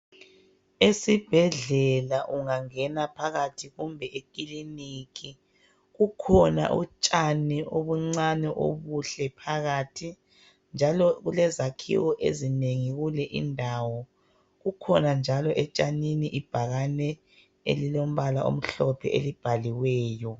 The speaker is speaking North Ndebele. Esibhedlela ungangena phakathi kumbe ekiliniki, kukhona utshani obuncane obuhle phakathi. Njalo kulezakhiwo ezinengi kule indawo. Kukhona njalo etshanini ibhakane elilombala omhlophe elibhaliweyo.